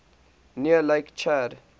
near lake chad